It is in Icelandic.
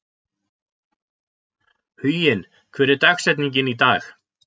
Huginn, hver er dagsetningin í dag?